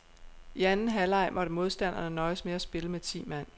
I anden halvleg måtte modstanderne nøjes med at spille med ti mand.